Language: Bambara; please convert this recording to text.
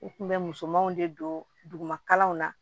U kun bɛ musomanw de don duguma kalanw na